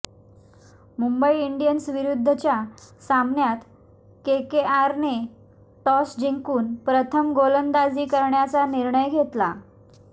मुंबई इंडियन्सविरुद्धच्या सामन्यात केकेआरने टॉस जिंकून प्रथम गोलंदाजी करण्याचा निर्णय घेतला